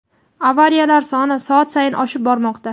avariyalar soni soat sayin oshib bormoqda.